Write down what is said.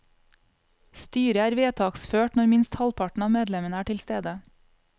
Styret er vedtaksført når minst halvparten av medlemmene er tilstede.